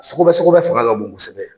Sɔgɔbɛ sɔgɔbɛ fanga ka bon kosɛbɛ.